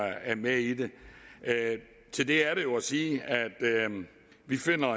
med i det til det er der jo at sige at vi finder